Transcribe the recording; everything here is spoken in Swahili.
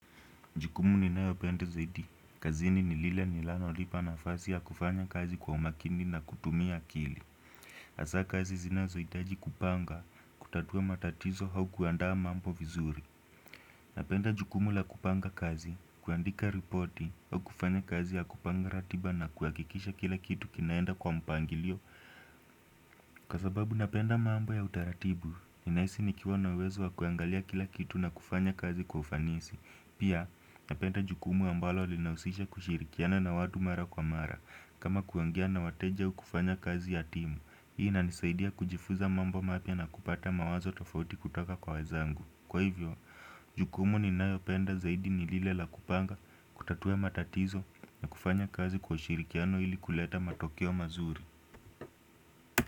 Jukumu ninayopenda zaidi, kazini ni lile milano lipa nafasi ya kufanya kazi kwa umakindi na kutumia akili hasa kazi zinazohitaji kupanga, kutatua matatizo hau kuandaa mambo vizuri Napenda jukumu la kupanga kazi, kuandika ripoti, hau kufanya kazi ya kupanga ratiba na kuhakikisha kila kitu kinaenda kwa mpangilio Kwa sababu napenda mambo ya utaratibu, ninahisi nikiwa na uwezo wa kuangalia kila kitu na kufanya kazi kwa ufanisi Pia napenda jukumu ambalo linahusisha kushirikiana na watu mara kwa mara kama kuongea na wateja hukufanya kazi ya timu Hii inanisaidia kujifuza mambo mapya na kupata mawazo tafauti kutoka kwa wezangu Kwa hivyo, jukumu ninayopenda zaidi nilile la kupanga kutatua matatizo kufanya kazi kwa ushirikiano ili kuleta matokeo mazuri.